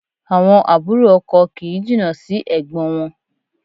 Àwọn àbúrò ọkọ kì í jìnnà sí ẹ̀gbọ́n wọn